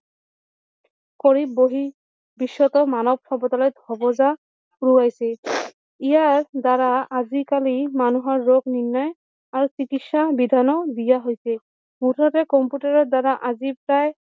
কৰি বহি বিশ্বতৰ মানৱ সভ্যতালৈ উৰুৱাইচছে ইয়াৰ দ্বাৰা আজি কালি মানুহৰ ৰোগ নিৰ্ণয় আৰু চিকিৎসা বিধানো দিয়া হৈছে মুঠতে কম্পিউটাৰৰ দ্বাৰা আজি প্ৰায়